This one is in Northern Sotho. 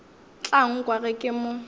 tla nkwa ge ke mo